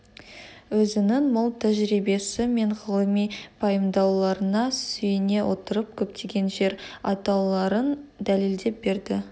өзінің мол тәжірибесі мен ғылыми пайымдауларына сүйене отырып көптеген жер атауларын дәлелдеп берді